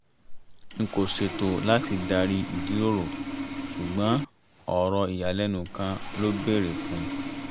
n kò ṣètò láti darí ìjíròrò ṣùgbọ́n ọ̀rọ̀ ìyàlẹ́nu kan ló bèrè fún un